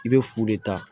I bɛ fu de ta